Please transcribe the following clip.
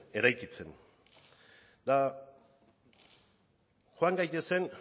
eraikitzen eta joan gaitezen